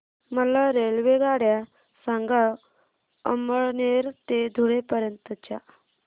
मला रेल्वेगाड्या सांगा अमळनेर ते धुळे पर्यंतच्या